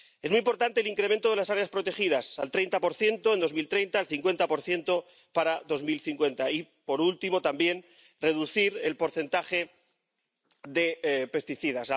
Es muy importante el incremento de las áreas protegidas, al 30 en 2030, al 50 para 2050. Y, por último, también, reducir el porcentaje de pesticidas.